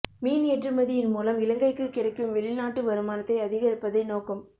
மீன் ஏற்றுமதியின் மூலம் இலங்கைக்கு கிடைக்கும் வெளிநாட்டு வருமானத்தை அதிகரிப்பதே நோக்கம்